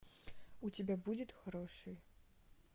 у тебя будет хороший